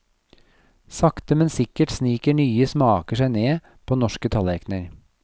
Sakte, men sikkert sniker nye smaker seg ned på norske tallerkner.